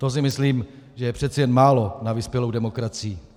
To si myslím, že je přeci jen málo na vyspělou demokracii.